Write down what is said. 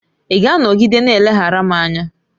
Ị ga-anọgide na-eleghara m anya?